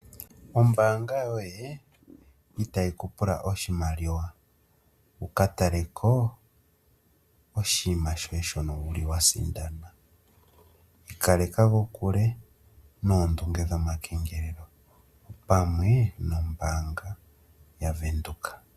Ombaanga yoye itayi kupula oshimaliwa wuka taleko oshinima shoye shono wuli wasindana. Ikaleka kokule noondunge dhomakengelelo opamwe nombaanga yavenduka.